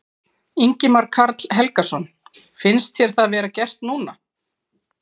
Ingimar Karl Helgason: Finnst þér það vera gert núna?